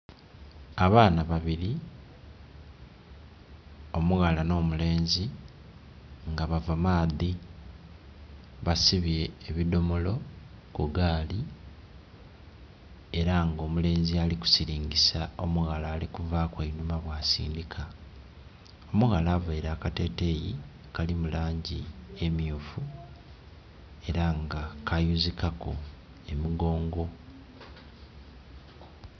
Abaana babiri omughala no mulenzi nga bava maadhi, basibye ebidomolo ku gaali era nga omulenzi ali kusilingisa omughala ali kuvaku enhuma bwa sindika. Omughala aveire akateteyi akali mu langi emyufu era nga kayuzikaku emugongo.